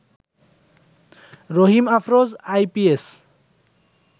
Rahim Afroz IPS